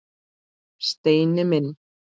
Steini minn!